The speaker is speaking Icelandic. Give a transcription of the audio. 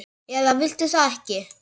eða viltu það ekki?